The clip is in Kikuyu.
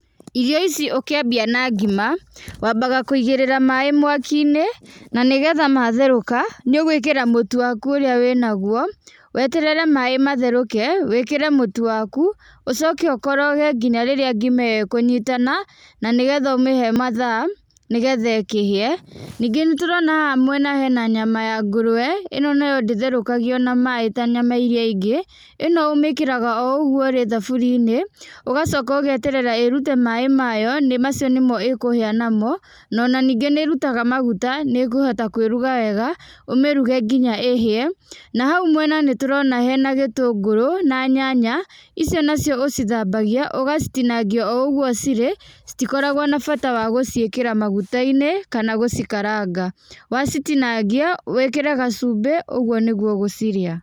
Irio ici ũkiambia na ngima wambaga kũigĩrĩra maĩ mwaki-inĩ na nĩgetha matherũka nĩũgũĩkĩra mũtu waku ũrĩa wĩnagũo, weterere maĩ matherũke wĩkĩre mũtu waku, ũcoke ũkoroge nginya rĩrĩa ngima ĩyo ĩkũnyitana na nĩgetha ũmĩhe mathaa nĩgetha ĩkĩhie. Ningĩ nĩ tũrona haha mwena hena nyama ya ngũrwe, ĩno nayo ndĩtherũkagio na maĩ ta nyama irĩa ingĩ, ĩno ũmĩkĩraga oo ũguo ĩrĩ thaburia-inĩ, ũgacoka ũgeterera ĩĩrute maĩ mayo nĩ macio nĩmo ĩkũhĩa namo, no ona ningĩ nĩ ĩrutaga maguta, nĩ ĩkũhota kwĩruga wega, ũmĩruge nginya ĩhĩe. Na hau mwena nĩtũrona hena gĩtũngũrũ na nyanya, icio nacio ũcitambagia ũgacitinangia oo ũguo cirĩ, citikoragũo na bata wa gũciĩkĩra maguta-inĩ kana gũcikaranga. Wacitinangia wĩkĩre gacumbĩ ũguo nĩguo ũgũcirĩa.